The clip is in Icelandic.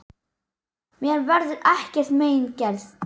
Mér verður ekkert mein gert.